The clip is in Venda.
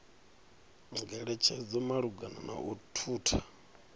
ngeletshedzo malugana na u thutha